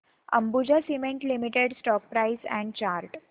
Ambuja cement limited stock price and chart